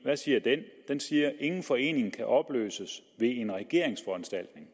hvad siger den den siger at ingen forening kan opløses ved en regeringsforanstaltning